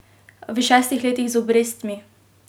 V šestih letih z obrestmi!